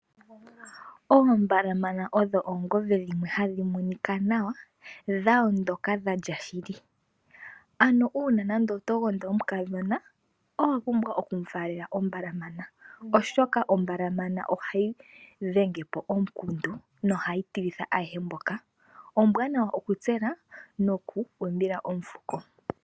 Oombalamana odho oongombe dhimwe hadhi monika nawa, dha ondoka dha lya shili. Ano uuna nande oto gondo omukadhona owa pumbwa oku mu faalela ombalamana, oshoka ombalamana ohayi dhenge po omukundu noha yi tilitha ayehe mboka. Ombwanawa okutsela noku umbila omufuko.